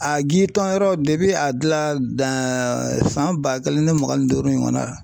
A gi tɔ yɔrɔ depi a dilan san ba kelen ni mugan ni duuru ɲɔgɔn na.